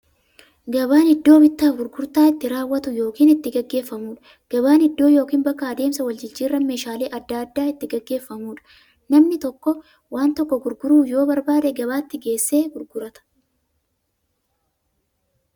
Gabaan iddoo bittaaf gurgurtaan itti raawwatu yookiin itti gaggeeffamuudha. Gabaan iddoo yookiin bakka adeemsa waljijjiiraan meeshaalee adda addaa itti gaggeeffamuudha. Namni tokko waan tokko gurguruu yoo barbaade, gabaatti geessee gurgurata.